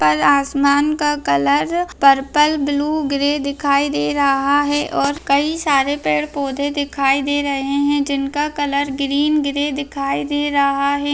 ऊपर आसमान का कलर पर्पल ब्लू ग्रे दिखाई दे रहा है और कई सारे पेड़-पौधे दिखाई दे रहे हैं जिनका कलर ग्रीन ग्रे दिखाई दे रहा है।